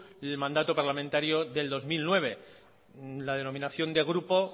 el mandato parlamentario del dos mil nueve la denominación de grupo